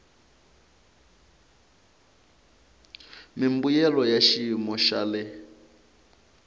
mimbuyelo ya xiyimo xa le